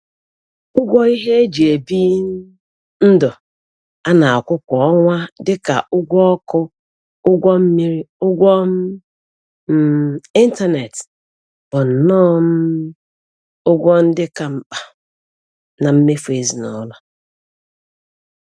Ụgwọ ihe e ji bi um ndụ a na-akwụ kwa ọnwa dịka ụgwọ ọkụ, ụgwọ mmiri, ụgwọ um ịntaneetị bụnnọ um ụgwọ ndị ka mkpa na mmefu ezinụlọ